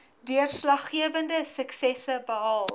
deurslaggewende suksesse behaal